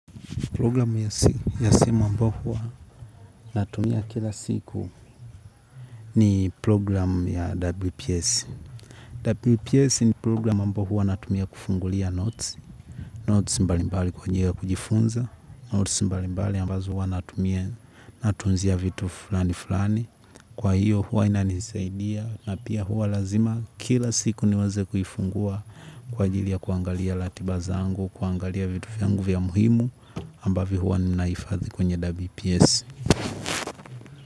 Program ya simu ambao huwa natumia kila siku ni program ya WPS. WPS ni program ambao huwa natumia kufungulia notes. Notes mbalimbali kwa njia kujifunza. Notes mbalimbali ambazo huwa natumia natunzia vitu fulani fulani. Kwa hiyo huwa inanisaidia. Na pia huwa lazima kila siku niweze kuifungua kwa ajili ya kuangalia latibaza zangu, kuangalia vitu fyangu vya muhimu. Ambavyo huwa ninaifadhi kwenye wps.